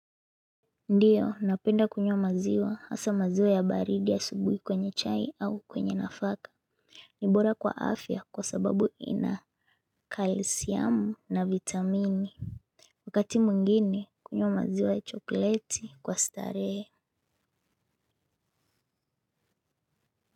Ndio napenda kunywa maziwa hasa maziwa ya baridi asubuhi kwenye chai au kwenye nafaka. Ni bora kwa afya kwa sababu ina kalisiamu na vitamini. Wakati mwingini kunywa maziwa ya chokoleti kwa starehe.